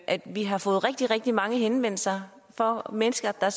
at vi har fået rigtig rigtig mange henvendelser fra mennesker der